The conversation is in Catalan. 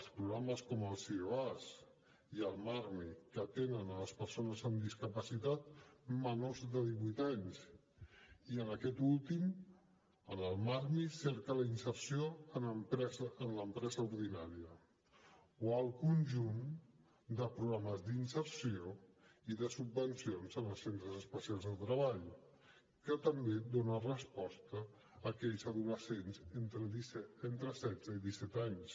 els programes com el sioas i el marmi que atenen les persones amb discapacitat menors de divuit anys i aquest últim el marmi cerca la inserció en l’empresa ordinària o el conjunt de programes d’inserció i de subvencions en els centres especials de treball que també dona resposta a aquells adolescents entre setze i disset anys